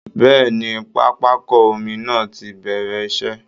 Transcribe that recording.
Bẹ́ẹ̀ẹ̀ ni, pápákọ omi náà ti bẹ̀rẹ̀ iṣẹ́